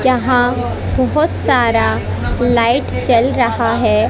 यहां बहोत सारा लाइट जल रहा है।